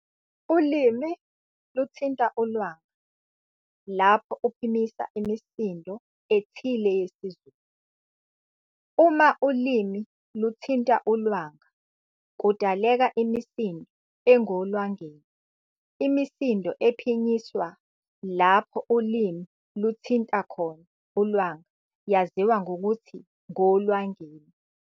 Ulimi luthinta ulwanga lapho uphimisa imisindo ethile yesiZulu. uma ulimi luthinta ulwanga kudaleka imisindo engolwangeni imisindo ephinyiswa lapho ulimi luthinta khona ulwanga yaziwa ngokuthi ngolwangeni